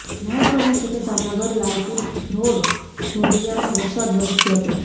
મહત્વનું છે કે જામનગર લાલપુર ધ્રોળ જોડિયામાં વરસાદ વરસ્યો હતો